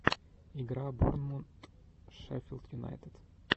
игра борнмут шеффилд юнайтед